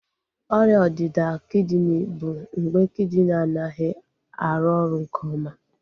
Ọrịa ọdịda kidini bụ mgbe kidini anaghị arụ oru nke oma